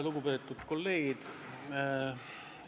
Lugupeetud kolleegid!